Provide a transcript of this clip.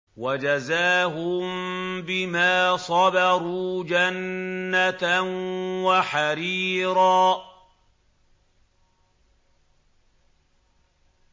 وَجَزَاهُم بِمَا صَبَرُوا جَنَّةً وَحَرِيرًا